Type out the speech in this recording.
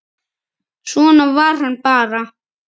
Svona var hann bara.